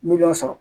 Miliyɔn sɔrɔ